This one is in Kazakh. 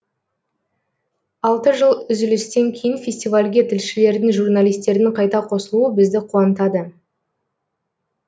алты жыл үзілістен кейін фестивальге тілшілердің журналистердің қайта қосылуы бізді қуантады